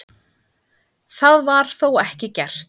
Það var þó ekki gert.